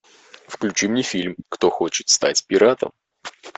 включи мне фильм кто хочет стать пиратом